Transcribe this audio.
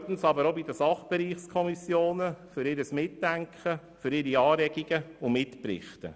Zweitens danke ich den Sachbereichskommissionen für ihre Anregungen, ihr Mitdenken und ihre Mitberichte.